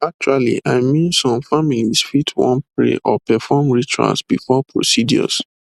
actually i mean some families fit wan pray or perform rituals before procedures